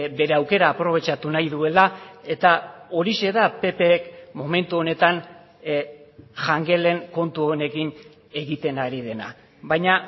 bere aukera aprobetxatu nahi duela eta horixe da ppk momentu honetan jangelen kontu honekin egiten ari dena baina